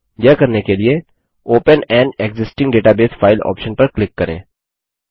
यह करने के लिए open an existing database file option पर क्लिक करें